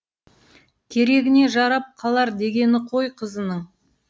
керегіне жарап қалар дегені ғой қызының